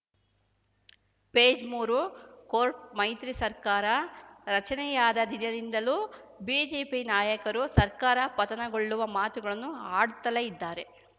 page ಮೂರು ಕೋಟ್‌ ಮೈತ್ರಿ ಸರ್ಕಾರ ರಚನೆಯಾದ ದಿನದಿಂದಲೂ ಬಿಜೆಪಿ ನಾಯಕರು ಸರ್ಕಾರ ಪತನಗೊಳ್ಳುವ ಮಾತುಗಳನ್ನು ಆಡುತ್ತಲೇ ಇದ್ದಾರೆ